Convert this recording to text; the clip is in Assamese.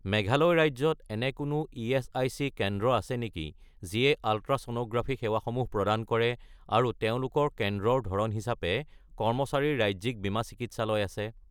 মেঘালয় ৰাজ্যত এনে কোনো ইএচআইচি কেন্দ্ৰ আছে নেকি যিয়ে আলট্ৰাছ'ন'গ্ৰাফি সেৱাসমূহ প্ৰদান কৰে আৰু তেওঁলোকৰ কেন্দ্ৰৰ ধৰণ হিচাপে কৰ্মচাৰীৰ ৰাজ্যিক বীমা চিকিৎসালয় আছে?